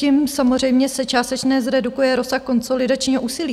Tím samozřejmě se částečně zredukuje rozsah konsolidačního úsilí.